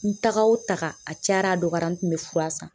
N taga o taga a cayara a dɔgɔyara n tun be fura san.